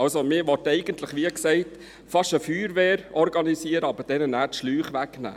Also: Wie gesagt, will man eigentlich fast eine Feuerwehr organisieren, aber dieser dann die Schläuche wegnehmen.